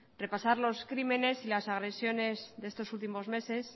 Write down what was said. repasar los crímenes y las agresiones de estos últimos meses